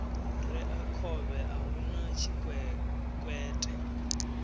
rea khovhe a huna tshikwekwete